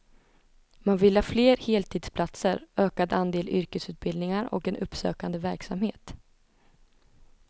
Man vill ha fler heltidsplatser, ökad andel yrkesutbildningar och en uppsökande verksamhet.